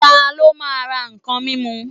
Ta ló máa ra ǹkan mímu.